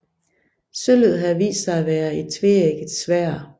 Sølvet havde vist sig at være et tveægget sværd